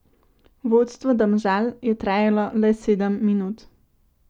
Vodstvo Domžal je trajalo le sedem minut.